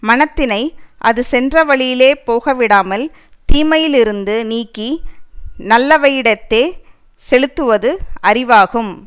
மனத்தினை அது சென்ற வழியிலே போக விடாமல் தீமையிலிருந்து நீக்கி நல்லவையிடத்தே செலுத்துவது அறிவாகும்